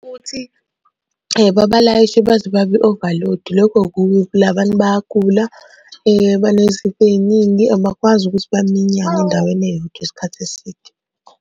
Ukuthi babalayishe baze babe overload, lokho kubi phela abantu bayagula, banezifo ey'ningi abakwazi ukuthi baminyane endaweni eyodwa ngesikhathi eside.